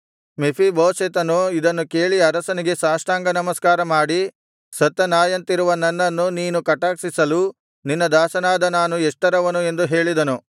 ಮೆಫೀಬೋಶೆತನು ಇದನ್ನು ಕೇಳಿ ಅರಸನಿಗೆ ಸಾಷ್ಟಾಂಗನಮಸ್ಕಾರಮಾಡಿ ಸತ್ತ ನಾಯಿಯಂತಿರುವ ನನ್ನನ್ನು ನೀನು ಕಟಾಕ್ಷಿಸಲು ನಿನ್ನ ದಾಸನಾದ ನಾನು ಎಷ್ಟರವನು ಎಂದು ಹೇಳಿದನು